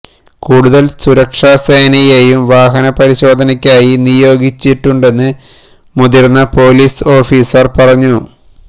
കൂടുതല് സുരക്ഷാ സേനയേയും വാഹനപരിശോധനക്കായി നിയോഗിച്ചിട്ടുണ്ടെന്ന് മുതിര്ന്ന പോലീസ് ഓഫീസര് പറഞ്ഞു